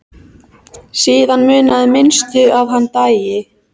Síðan munaði minnstu að hann dæi.